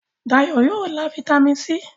Dayo yóò lá Vitamin c.